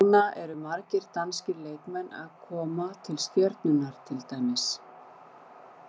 Núna eru margir danskir leikmenn að koma til Stjörnunnar til dæmis.